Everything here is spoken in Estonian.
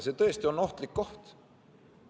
See on tõesti ohtlik koht.